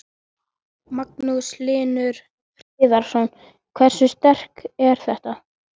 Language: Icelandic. Magnús Hlynur Hreiðarsson: Hversu sterkt er þetta?